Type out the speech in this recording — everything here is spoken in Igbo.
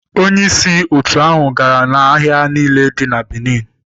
Onye isi otu ahụ gara n'ahịa niile dị na Benin.